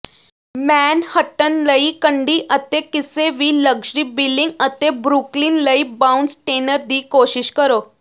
Manhattan ਲਈ condo ਅਤੇ ਕਿਸੇ ਵੀ ਲਗਜ਼ਰੀ ਬਿਲਿੰਗ ਅਤੇ ਬਰੁਕਲਿਨ ਲਈ ਬ੍ਰਾਊਨਸਟੇਨਰ ਦੀ ਕੋਸ਼ਿਸ਼ ਕਰੋ